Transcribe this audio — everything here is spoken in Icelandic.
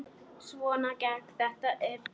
Svona gekk þetta upp.